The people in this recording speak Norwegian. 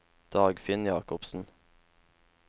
Dagfinn Jacobsen